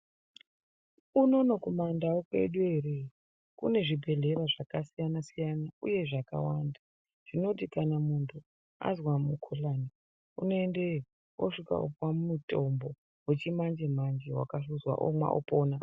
Unono kumaNdau kwedu eree kune zvibhedhlera zvakasiyana siyana uye zvakawanda. Zvinoti kana muntu azwa mukhuhlani unoendeyo osvika opuwe mutombo wechimanje manje wakahluzwa omwa opona.